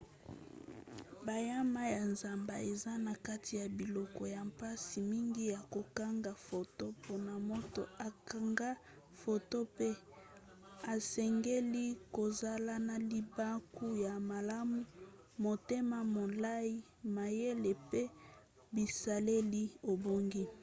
banyama ya zamba eza na kati ya biloko ya mpasi mingi ya kokanga foto mpona moto akangaka foto mpe esengeli kozala na libaku ya malamu motema molai mayele mpe bisaleli ebongi